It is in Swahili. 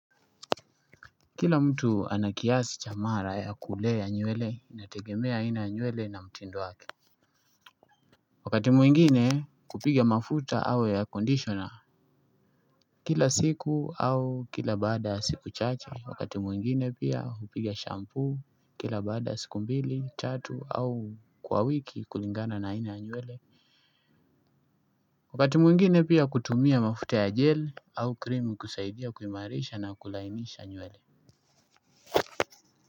Kila mtu ana kiasi cha mara ya kulea nywele inategemea aina nywele na mtindo wake. Wakati mwingine kupiga mafuta au air conditioner. Kila siku au kila baada siku chache wakati mwingine pia kupiga shampoo kila baada siku mbili tatu au kwa wiki kulingana na aina ya nywele. Wakati mwingine pia kutumia mafuta ya gel au krimi kusaidia kuimarisha na kulainisha nywele.